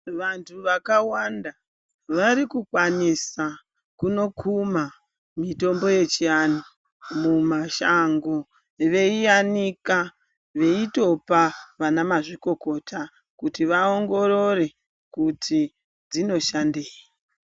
Vantu vakawanda varikukwanisa kunokuma mitombo yechi anhu mumashango. Veyiyanika, veyitopa vanamazvikokota kuti va ongorore kuti dzinoshandeyi.